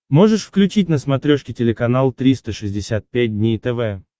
можешь включить на смотрешке телеканал триста шестьдесят пять дней тв